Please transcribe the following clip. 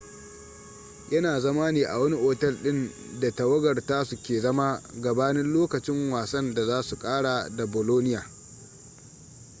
yana zama ne a wani otel din da tawagar tasu ke zama gabanin lokacin wasan da za su kara da bolonia